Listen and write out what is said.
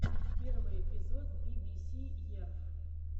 первый эпизод би би си ерф